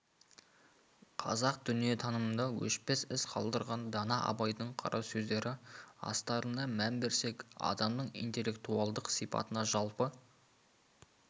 қазақ дүниетанымында өшпес із қалдырған дана абайдың қара сөздері астарына мән берсек адамның интеллектуалдық сипатына жалпы